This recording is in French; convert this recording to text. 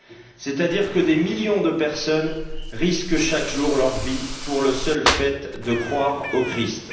Autrement dit, des millions de personnes risquent chaque jour leur vie pour le seul fait de croire au Christ.